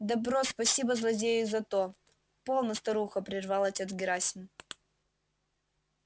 добро спасибо злодею за то полно старуха прервал отец герасим